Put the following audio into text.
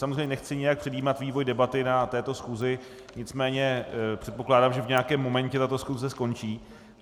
Samozřejmě nechci nějak předjímat vývoj debaty na této schůzi, nicméně předpokládám, že v nějakém momentě tato schůze skončí.